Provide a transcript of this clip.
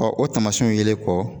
o taamasiyɛnw yelen kɔ